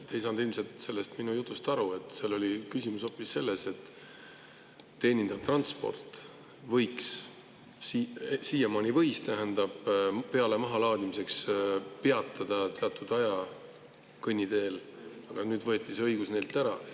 Te ei saanud ilmselt minu jutust aru, seal oli küsimus hoopis selles, et teenindav transport siiamaani võis peale‑ ja mahalaadimiseks peatuda teatud aja kõnniteel, aga nüüd võeti see õigus neilt ära.